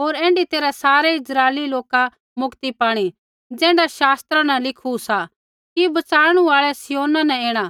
होर ऐण्ढी तैरहै सारै इस्राइली लोका मुक्ति पाणी ज़ैण्ढा शास्त्रा न लिखू सा कि बचाणु आल़ै सिय्योना न ऐणा